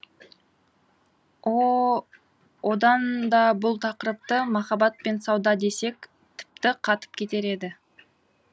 о одан да бұл тақырыпты махаббат пен сауда десек тіпті қатып кетер еді